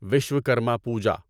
Vishwakarma Puja